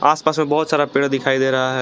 आस पास में बहुत सारा पेड़ दिखाई दे रहा है।